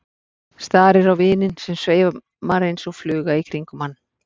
Starir á vininn sem sveimar eins og fluga í kringum hann.